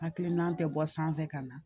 Hakilina tɛ bɔ sanfɛ ka na